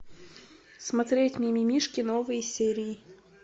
смотреть мимимишки новые серии